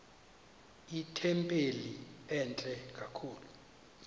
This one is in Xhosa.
itempile entle kakhulu